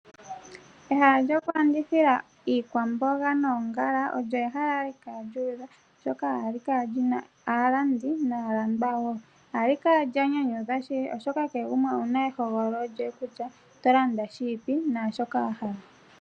Ehala lyoku landithila iikwamboga noongala ohali kala lyu udha oshoka ohali kala li na aalandi naalandwa woo. Ohali kala enyanyudhi shili oshoka kehe gamwe owu na ehogololo kutya oto landa shiipi ano shoka wahala.